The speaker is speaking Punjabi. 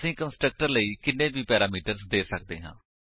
ਅਸੀ ਕੰਸਟਰਕਟਰ ਲਈ ਕਿੰਨੇ ਵੀ ਪੈਰਾਮੀਟਰਸ ਦੇ ਸੱਕਦੇ ਹਾਂ